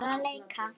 Bara leika.